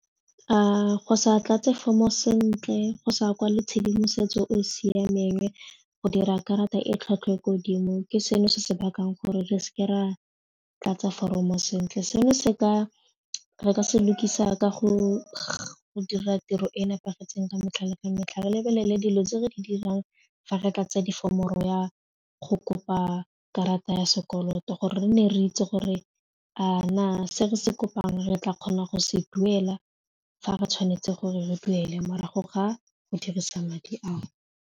A go sa tlatse fomr-o sentle go sa kwale tshedimosetso o siameng go dira karata e tlhwatlhwa godimo ke seno se se bakang gore re seke ra tlatsa foromo sentle, seno re ka se lukisa ka go dira tiro e e nepagetseng ka metlha le ka metlha re lebelele dilo tse re di dirang fa re tlatsa di-form-o ro ya go kopa karata ya sekoloto gore re ne re itse gore a na se re se kopang re tla kgonang go se duela fa re tshwanetse gore re duele morago ga go dirisa madi ao.